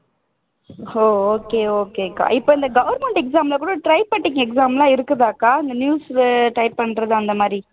ஓ okay okay அக்கா இப்போ இந்த government exam ல கூட typewriting exam எல்லாம் இருக்குதாக்கா news type பண்றது அந்த மாதிரி